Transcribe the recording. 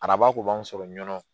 Araba kun b'an sɔrɔ ɲɔɔ